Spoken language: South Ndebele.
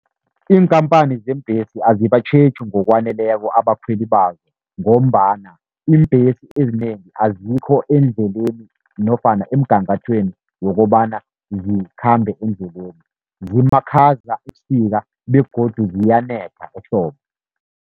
Iinkhamphani zeembhesi azibatjheji ngokwaneleko abakhweli bazo, ngombana iimbhesi ezinengi azikho endleleni nofana emgangathweni wokobana zikhambe endleleni, zimakhaza ebusika begodu ziyanetha ehlobo.